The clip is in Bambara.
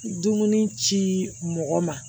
Dumuni ci mɔgɔ ma